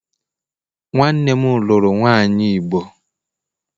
Nwannem luru nwanyi igbo